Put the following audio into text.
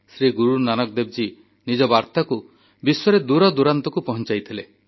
ଶ୍ରୀ ଗୁରୁନାନକ ଦେବଜୀ ନିଜ ବାର୍ତ୍ତାକୁ ବିଶ୍ୱର କୋଣଅନୁକୋଣରେ ପହଞ୍ଚାଇଥିଲେ